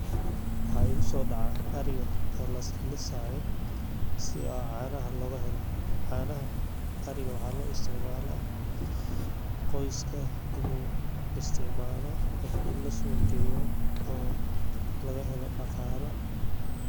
Waxa ay u soo dhacaa ariga oo las leesaya si caanaha laga helo. Caanaha, ariga waa hal lo isticmaalaa, qoyska inuu isticmaalo ama in la sooqu geeyo oo laga helo dhaqaale.